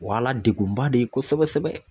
O y'a la degunba de ye kosɛbɛ sɛbɛ